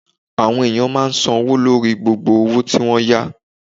Àwọn ènìyàn máa n san owó lórí gbogbo òwò tí n wọ́n yá